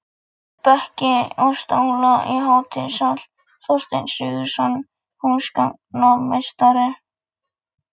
Bekki og stóla í hátíðasal: Þorsteinn Sigurðsson, húsgagnasmíðameistari.